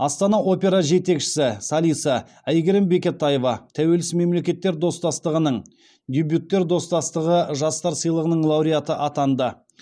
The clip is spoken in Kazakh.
астана опера жетекшісі солисі әйгерім бекетаева тәуелсіз мемлекеттер достастығының дебюттер достастығы жастар сыйлығының лауреаты атанды